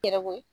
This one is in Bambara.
Yɛrɛ ko